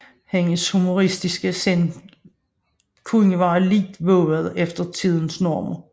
Hendes humoristiske sind kunne være lidt vovet efter tidens normer